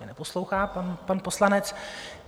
Mě neposlouchá pan poslanec...